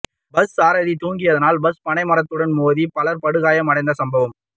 bus சாரதி தூங்கியதினால் bus பனைமரத்துடன் மோதி பலர் படுகாயமடைந்த சம்பவம்